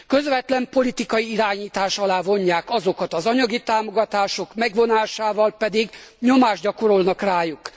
Közvetlen politikai irányítás alá vonják azokat, az anyagi támogatások megvonásával pedig nyomást gyakorolnak rájuk.